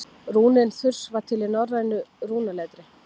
rúnin þurs var til í norrænu rúnaletri